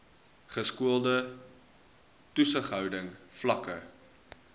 geskoolde toesighouding vlakke